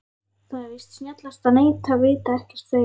Það er víst snjallast að neita, vita ekkert, þegja.